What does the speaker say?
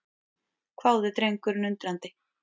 hváði drengurinn undrandi.